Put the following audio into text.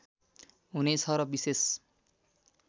हुने छ र विशेष